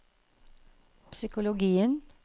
psykologien